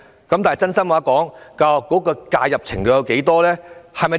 坦白說，教育局的介入程度有多大？